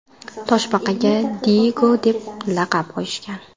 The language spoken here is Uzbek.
Toshbaqaga Diyego deb laqab qo‘yishgan.